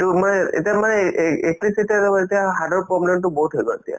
এইটো মানে এতিয়া মানে লগত এতিয়া heart ৰ problem তো বহুত হৈ গল এতিয়া